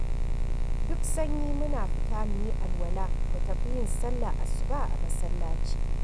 Duk sanyi muna fita mu yi alwala mu tafi yin sallar asuba a masallaci.